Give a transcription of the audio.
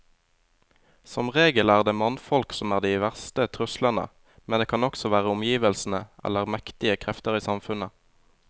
Som regel er det mannfolk som er de verste truslene, men det kan også være omgivelsene eller mektige krefter i samfunnet.